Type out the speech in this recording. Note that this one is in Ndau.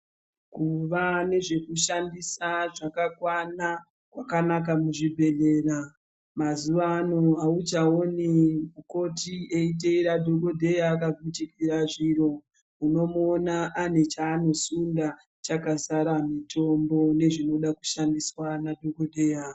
Kuva nezvekushandisa zvakakwana kwakanaka muzvibhedhlera, mazuvano hauchaoni mukoti eiteera dhogodheya akagukuchira zviro. Unomuona ane chaanosunda chakazara mitombo nezvinoda kushandiswa nadhogodheya.